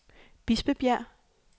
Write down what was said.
Bispebjerg